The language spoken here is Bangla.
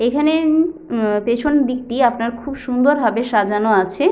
এইখানে উম পেছন দিকটি আপনার খুব সুন্দর ভাবে সাজানো আছে।